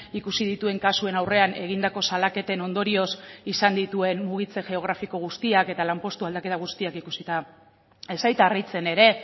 ikusi dituen kasuen aurrean egindako salaketen ondorioz izan dituen mugitze geografiko guztiak eta lanpostu aldaketa guztiak ikusita ez zait harritzen ere